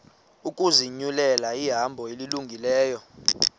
ukuzinyulela ihambo elungileyo